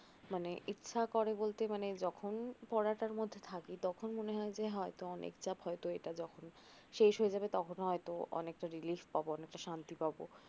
মানে ইচ্ছা করে বলতে যখন পড়ার মধ্যে থাকি তখন মনে হয় অনেক চাপ পড়াটা শেষ হলে হয়তো অনেকটা relief পাবো অনেকটা শান্তি পাবো